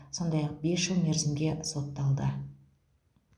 сондай ақ бес жыл мерзімге сотталды